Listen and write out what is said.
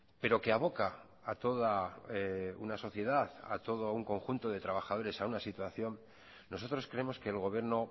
pero que aboca a toda una sociedad a todo un conjunto de trabajadores a una situación nosotros creemos que el gobierno